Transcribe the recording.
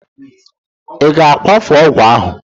I ga-akwafu ọgwụ ahụ!